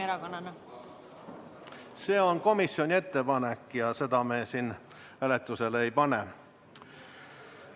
See on komisjoni ettepanek ja seda me siin hääletusele ei pane.